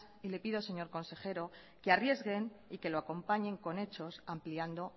y le pido señor consejero que arriesguen y que lo acompañen con hechos ampliando